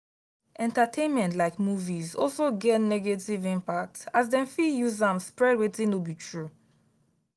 entertainment like movies also get negative impact as dem fit use am spread wetin no be true.